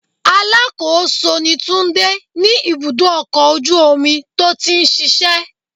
Alákòóso ni Túndé ní ibùdó ọkọ̀ ojú omi tó ti ń ṣíṣe.